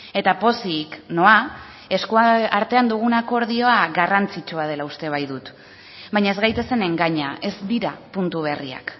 eta pozik noa eskuartean dugun akordioa garrantzitsua dela uste baitut baina ez gaitezen engaina ez dira puntu berriak